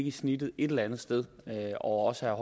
et snit et eller andet sted og også